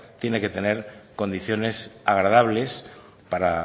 tienen que tener condiciones agradables para